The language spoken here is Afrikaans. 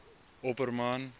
opperman